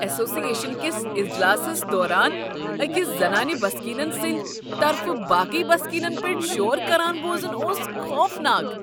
Association کس اجلاسس دوران أکس زنانہٕ بسکینن سٕندۍ طرفہٕ باقی بسکینن پیٹھ شور کران بوزن اوس خوفناک۔